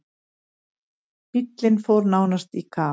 Bíllinn fór nánast í kaf.